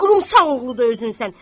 Belə qurumsaq oğludu özünsən.